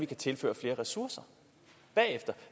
kan tilføre flere ressourcer